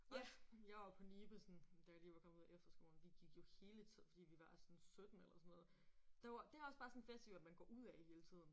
Også jeg var på Nibe sådan da jeg lige var kommet ud af efterskolen vi gik jo hele tiden fordi vi var sådan 17 eller sådan noget. Der var det også bare sådan en festival man går ud af hele tiden